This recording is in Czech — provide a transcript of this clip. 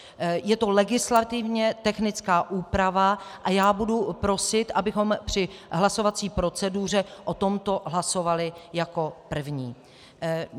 Je to legislativně technická úprava a já budu prosit, abychom při hlasovací proceduře o tomto hlasovali jako prvním.